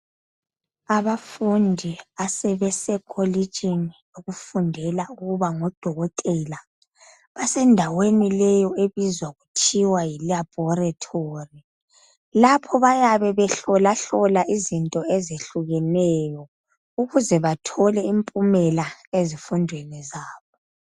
Abafundi asebesekolitshini lokufundela ukuba ngudokotela abasendaweni leyo ebizwa kuthiwa yi laboratory lapho bayabe behlola hlola izinto ezehlukeneyo ukuze bathole impumela ezifundweni zabo.